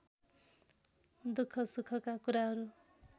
दुःख सुखका कुराहरू